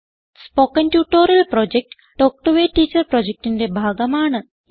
spoken tutorial project talk to a teacher പ്രൊജക്റ്റിന്റെ ഭാഗമാണ്